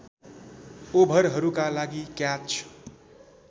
ओभरहरूका लागि क्याच